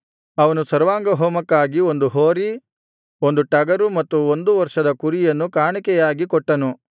ಅವನು ಸರ್ವಾಂಗಹೋಮಕ್ಕಾಗಿ ಒಂದು ಹೋರಿ ಒಂದು ಟಗರು ಮತ್ತು ಒಂದು ವರ್ಷದ ಕುರಿಯನ್ನು ಕಾಣಿಕೆಯಾಗಿ ಕೊಟ್ಟನು